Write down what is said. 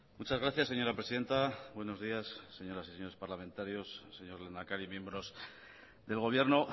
muchas gracias señora presidenta buenos días señoras y señores parlamentarios señor lehendakari miembros del gobierno